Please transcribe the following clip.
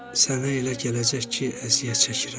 Sənə elə gələcək ki, əziyyət çəkirəm.